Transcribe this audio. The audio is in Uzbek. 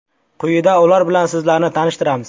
Quyida ular bilan sizlarni tanishtiramiz.